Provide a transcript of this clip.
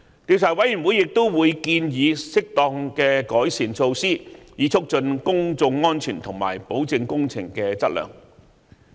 調查委員會亦會建議適當的改善措施，以促進公眾安全及保證工程質量。